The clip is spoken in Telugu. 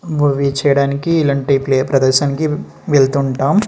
మూవీ చేయడానికి ఇలాంటి ప్లే ప్రదర్శనికి వెళ్తుంటామ్.